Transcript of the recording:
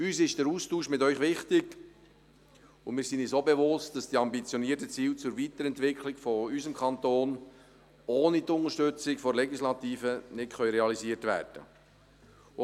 Uns ist der Austausch mit Ihnen wichtig, und wir sind uns auch bewusst, dass die ambitionierten Ziele zur Weiterentwicklung unseres Kantons ohne die Unterstützung der Legislative nicht realisiert werden können.